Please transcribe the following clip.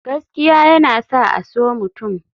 Gaskiya yana sa a so mutum.